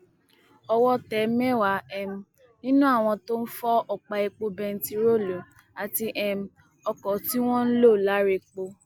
owó tẹ mẹwàá um nínú àwọn tó ń fọ ọpá epo bẹntiróòlù àti um ọkọ tí wọn ń lò larépọ